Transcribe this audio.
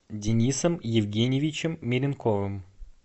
денисом евгеньевичем меренковым